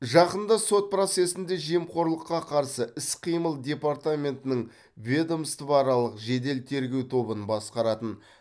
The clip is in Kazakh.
жақында сот процесінде жемқорлыққа қарсы іс қимыл департаментінің ведомствоаралық жедел тергеу тобын басқаратын